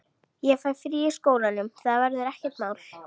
Ég fæ frí í skólanum, það verður ekkert mál.